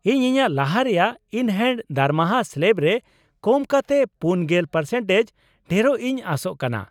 ᱤᱧ ᱤᱧᱟᱹᱜ ᱞᱟᱦᱟ ᱨᱮᱭᱟᱜ ᱤᱱᱼᱦᱮᱱᱰ ᱫᱟᱨᱢᱟᱦᱟ ᱥᱞᱮᱵ ᱨᱮ ᱠᱚᱢᱠᱟᱛᱮ ᱔᱐% ᱰᱷᱮᱨᱚᱜ ᱤᱧ ᱟᱥᱚᱜ ᱠᱟᱱᱟ ᱾